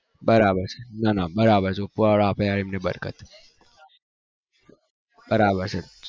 બરાબર બરાબ